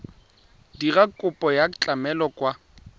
dira kopo ya tlamelo kwa